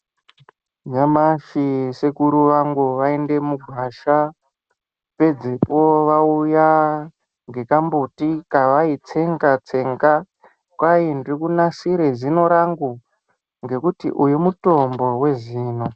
Nyamashi sekuru vangu vaende mugwasha pedzepo vauya nekambuti kavaitsenga-tsenga, kwai ndirikunasire zino rangu ngekuti uyu mutombo wezino.